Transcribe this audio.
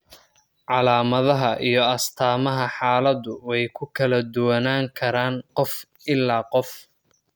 Calaamadaha iyo astaamaha xaaladdu way ku kala duwanaan karaan qof ilaa qof.